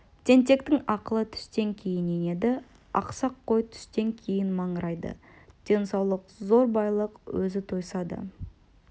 тентектің ақылы түстен кейін енеді ақсақ қой түстен кейін маңырайды денсаулық зор байлық өзі тойса да